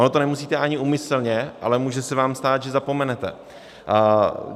Ono to nemusíte ani úmyslně, ale může se vám stát, že zapomenete.